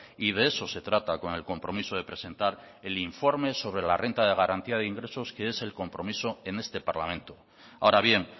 y de eso se trata con el compromiso de presentar el informe sobre la renta de garantía de ingresos que es el compromiso en este parlamento ahora bien